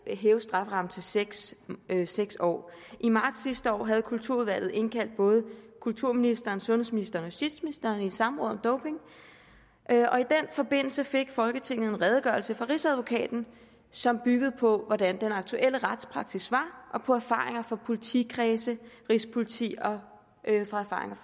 at hæve strafferammen til seks seks år i marts sidste år havde kulturudvalget indkaldt både kulturministeren sundhedsministeren og justitsministeren i et samråd om doping i den forbindelse fik folketinget en redegørelse fra rigsadvokaten som byggede på den aktuelle retspraksis og på erfaringer fra politikredse rigspolitiet og